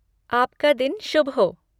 आपका दिन शुभ हो!